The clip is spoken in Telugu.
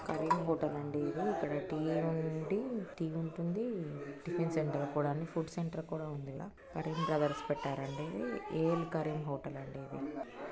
కరీమ్ హోటల్ టి ఉండి టి ఉంటుంది టిఫిన్ సెంటర్ అన్ని ఫుడ్ సెంటర్ కూడా ఉంది వెనకల కరీమ్ బ్రదర్స్ పెట్టారండి ఎల్ కరీమ్ హోటల్ .